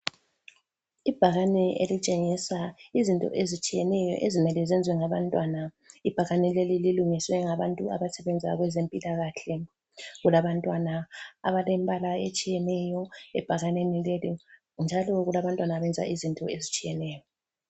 Ibhakane elitshengisa izinto ezitshiyeneyo ezimele ziyenziwe ngabantwana. Ibhakane leli lilungiswe ngabantu abasebenza kwezempilakahle. Kulabantwana abalembala etshiyeneyo ebhakaneni lele njalo kulabantwana abenza izinto ezitshiyeneyo.